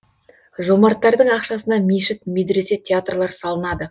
жомарттардың ақшасына мешіт медресе театрлар салынады